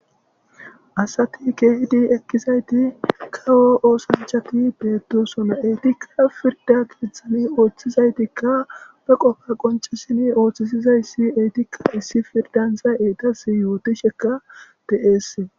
Asati kehidi eqidayti kawo ossanchati betosona etika pirdiy ketha pirdan othizageti be qofa qonccisidi othisizayti eytika issipe eytas yotishe de'etes